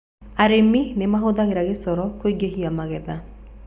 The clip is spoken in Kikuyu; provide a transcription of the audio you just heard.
Arĩmi nĩ mahũthagĩra gĩcoro kũingĩhia magetha.